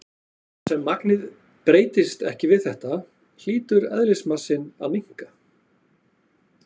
Þar sem magnið breytist ekki við þetta, hlýtur eðlismassinn að minnka.